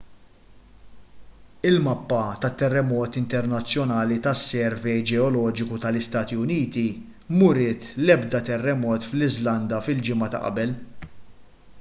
il-mappa tat-terremoti internazzjonali tas-servej ġeoloġiku tal-istati uniti m'uriet l-ebda terremot fl-iżlanda fil-ġimgħa ta' qabel